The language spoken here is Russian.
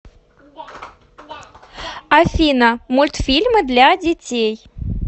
афина мультфильмы для детей